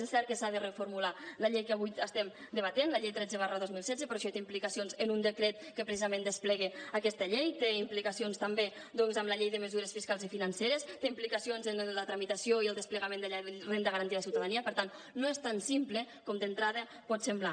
és cert que s’ha de reformular la llei que avui estem debatent la llei tretze dos mil setze però això té implicacions en un decret que precisament desplega aquesta llei té implicacions també doncs en la llei de mesures fiscals i financeres té implicacions en la tramitació i el desplegament de la renda garantida de ciutadania per tant no és tan simple com d’entrada pot semblar